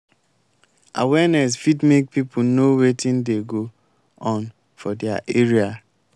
awareness fit make pipo know wetin dey go on for di area